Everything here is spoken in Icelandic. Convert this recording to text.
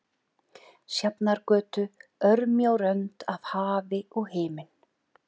Sjafnargötu, örmjó rönd af hafi og himinn.